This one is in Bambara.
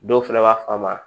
Dɔw fana b'a f'a ma